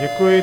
Děkuji.